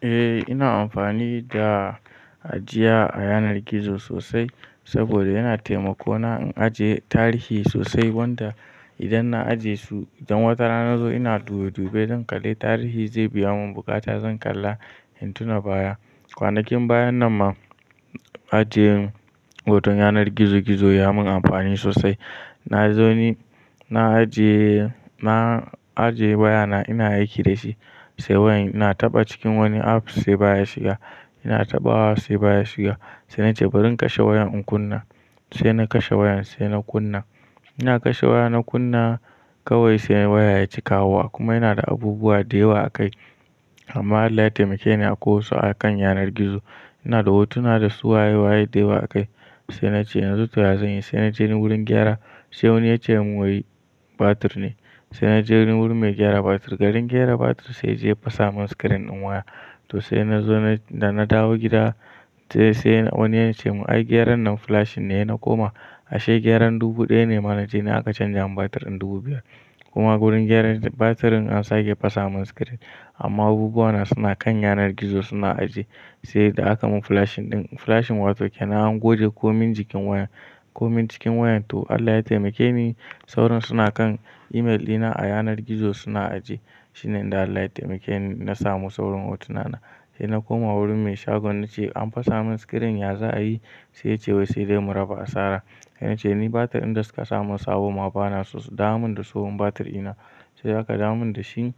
Eh ina amfani da ajiya a yanar gizo sosai saboda yana taimako na in aje tarihi sosai wanda idan na aje su, idan wata rana na zo ina dubi dube zan kalli tarihi zai biya mun bukata zan kalla in tuna baya. Kwanakin baya nan ma aje hoton yanar gizo gizo ya mun amfani sosai. Na zo ni na aje, na aje waya na ina aiki dashi sai wayan ina taɓa cikin wani apps sai baya shiga. Ina taɓawa sai baya shiga sai nace bari in kashe wayan in kunna sai na kashe wayan sai na kunna. Ina kashe waya na kunna kawai sai waya yaƙi kawowa kuma yana inada abubuwa da yawa a kai amma Allah ya taimake ni akwai wasu a kan yanar gizo. Ina da hotuna da su waye waye da yawa a kai sai nace yanzu to ya zanyi sai na je wurin gyara sai wani yace mun wai batir ne sai na je wurin mai gyara batir. Garin gyara batir sai yaje ya fasa mun screen din waya to sai na zo da na dawo gida sai wani yace mun ai gyaran nan flashing ne sai na koma ashe gyaran dubu ɗaya ne ma nace na aka canja mun batir in dubu biyar. Kuma wurin gyaran batirin an sake fasa mun screen amma abubuwa na suna kan yanar gizo suna ajiye sai da aka mun flashing ɗin. Flashing wato kena goge komin cikin wayan komin cikin wayan to Allah ya taimake ni saurin suna kan email ɗina a yanar gizo suna ajiye shine Allah ya taimake ni na samu saurin hotuna na. Sai na koma wurin mai shagon nace an fasa mun screen ya za a yi? Sai yace wai sai dai mu raba a sara. Na ce ni batir ɗin da suka samu sabo ma bana so dawo min da tsohon batir ɗina sai aka dawo mun dashi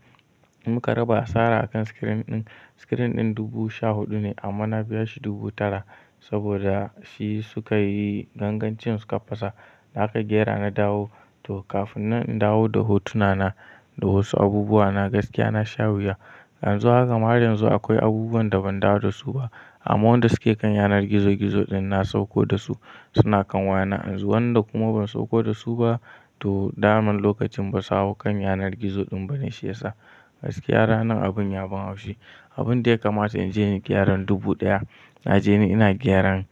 muka raba hasara akan screen ɗin. Screen ɗin dubu sha huɗu ne amma na biya shi dubu tara saboda shi suka yi gangancin suka fasa. Da aka gyara na dawo to kafin na dawo da hotuna na da wasu abubuwa na gaskiya na sha wuya. Yanzu haka ma har yanzu akwai abubuwan da ban dawo da su ba amma wanda suke kan yanar gizo gizo ɗin na sauko da su suna kan waya na yanzu. Wa ƴanda kuma ban sauko dasu ba to daman lokacin basu hau kan yanar gizo ɗin bane shiyasa. Gaskiya ranan abin ya ban haushi. Abun dai kamata in je inyi gyaran dubu ɗaya naje ni ina gyaran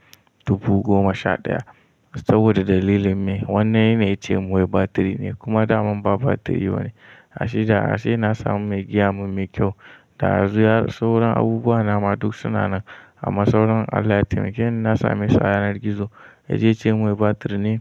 dubu goma sha ɗaya saboda dalilin me? Wani ne yace min wai batiri ne kuma da man ba batiri bane. Ashe da na samu mai gyara mai kyau da yanzu sauran abubuwa na ma duk suna nan amma sauran Allah ya taimake ni na same su a yanar gizo. Ya je ya ce mun wai batir ne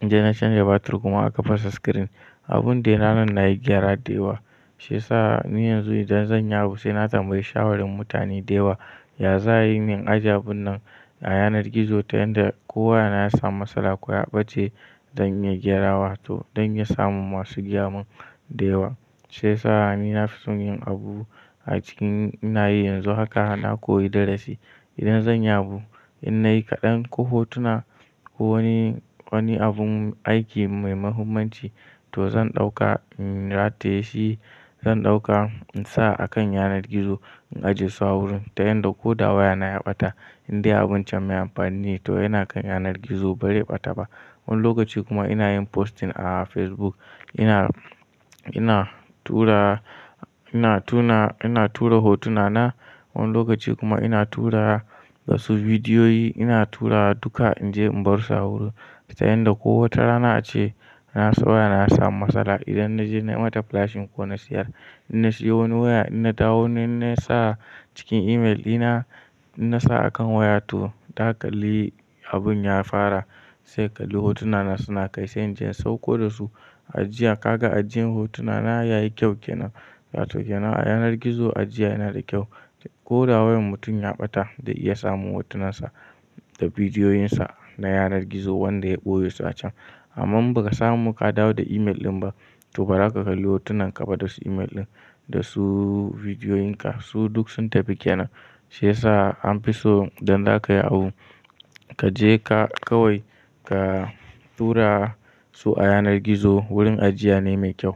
naje na canja batir kuma aka fasa screen. Abun dai na nan nayi gyara da yawa shiyasa ni yanzu idan zanyi abu sai na tambayi shawarin mutane da yawa ya za a yi min ajiyan abun nan a yanar gizo ta yanda kowa yana ya samu matsala ko ya ɓace dan ya gyarawa to don ya samu masu gayamin da yawa. Shiyasa ni na fi son yin abu a cikin ina yi yanzu haka na koyi darasi. Idan zan yabo in nayi kaɗan ko hotuna ko wani, wani abun aiki mai muhimmanci to zan ɗauka, rataye shi zan ɗauka in sa a kan yanar gizo in ajiye su a wurin ta yanda ko da waya na ya ɓata indai abin can mai amfani ne toh yana kan yanar gizo ba zai ɓata ba wani lokaci kuma ina yin posting a Facebook ina tura hotuna na wani lokaci kuma ina tura wasu bidiyoyi ina tura duka in je in bar su a wurin ta yanda ko wata rana ace na tsaya na samu matsala idan naje na yi mata flashing ko na siyar. In na siyo wani waya inna dawo inna sa cikin email ina, inna sa a kan waya to ta kalli abun ya fara sai ka kalli hotuna na suna kai sai in je in sauko da su. Ajiya ka ga ajiyan hotuna na yayi kyau kenan wato kenan a yanar gizo ajiya yana da kyau. Ko da wayan mutum ya ɓata zai iya samun hotunan sa da bidiyoyin sa na yanar gizo wanda ya ɓoye su a can. Amma in ba ka samu ka dawo da email ɗin ba to ba zaka kalli hotunan ka ba da su email ɗin da su bidiyoyin ka su duk sun tafi kena. Shiyasa an fi so idan zaka yi abu kaje ka kawai ka tura su a yanar gizo wurin ajiya ne mai kyau.